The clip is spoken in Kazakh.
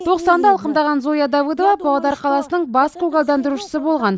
тоқсанды алқымдаған зоя давыдова павлодар қаласының бас көгалдандырушысы болған